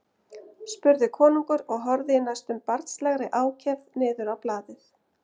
spurði konungur og horfði í næstum barnslegri ákefð niður á blaðið.